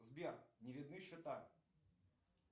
сбер не видны счета